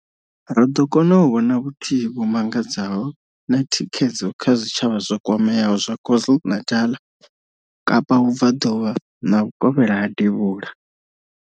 Ro ḓo kona u vhona vhuthihi vhu mangadzaho na thikhedzo kha zwitshavha zwo kwameaho zwa KwaZulu-Natal, Kapa Vhubvaḓuvha na Vhukovhela ha Devhula.